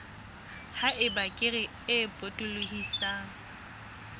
ha eba kere e potolohisang